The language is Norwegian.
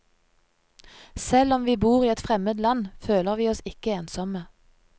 Selv om vi bor i et fremmed land, føler vi oss ikke ensomme.